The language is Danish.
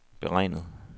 beregnet